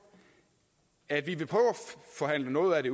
at vi at forhandle noget af